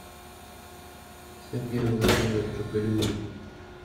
сергею владимировичу галиуллину